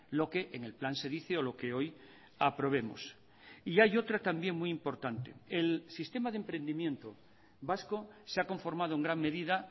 lo que en el plan se dice o lo que hoy aprobemos y hay otra también muy importante el sistema de emprendimiento vasco se ha conformado en gran medida